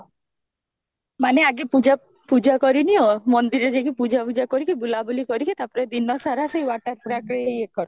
ମାନେ ଆଜି ପୂଜା କରି ନିଅ ମନ୍ଦିର ରେ ପୂଜା ଫୁଜା କରିକି ବୁଲା ବୁଲି କରିକି ତାପରେ ଦିନ ସାରା ସେ water park ରେ ୟେ କର